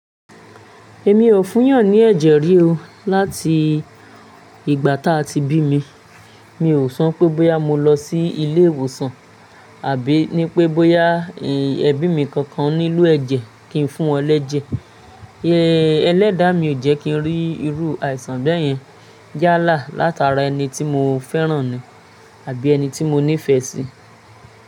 Èmi ò fún'yàn ní ẹ̀jẹ̀ rí o. Láti ìgbà táa ti bí mi, mi ò so pé bọ́yá mo lọ sí ilé ìwòsàn àbí ní pé bọ́yá ẹbí mi kankan nílo ẹ̀jẹ̀ kí n fún wọn lẹ́jẹ̀. Ẹlẹ́dàá mi ò jẹ́ kí n rí irú àìsàn bẹ́ẹ̀ yẹn yálà látara ẹni tí mo fẹ́ràn ni àbí ẹni tí mo nífẹ̀ẹ́ sí.